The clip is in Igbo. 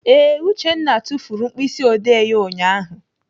Ee, Uchenna tufuru mkpịsịodee ya ụnyaahụ.